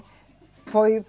Foi